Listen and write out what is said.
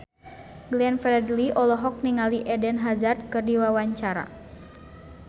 Glenn Fredly olohok ningali Eden Hazard keur diwawancara